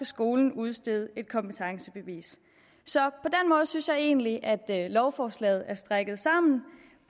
skolen udstede et kompetencebevis så jeg synes egentligt at lovforslaget er strikket sammen